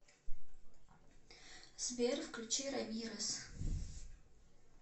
сбер включи рамирес